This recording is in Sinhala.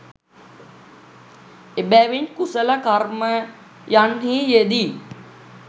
එබැවින් කුසල කර්මයන්හි යෙදී